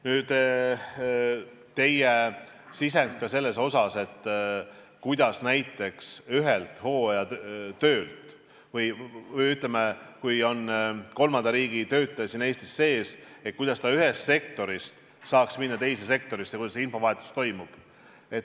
Nüüd teie sisend selle kohta, kuidas näiteks siis, kui kolmanda riigi töötaja on Eestis, ta saaks ühest sektorist minna teise sektorisse, et kuidas see infovahetus toimub.